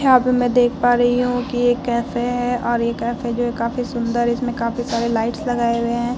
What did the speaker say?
यहाँ पे मैं देख पा रही हूँ की एक कैफ़े है और ये कैफ़े जो है काफ़ी सुन्दर है इसमें काफ़ी सारे लाइट्स लगाए गए है।